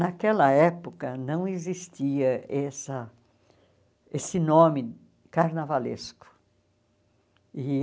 Naquela época, não existia essa esse nome carnavalesco e.